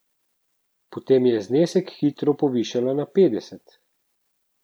Potem je znesek hitro povišala na petdeset.